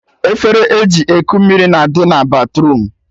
Efere eji eku mmiri na-adị na batruum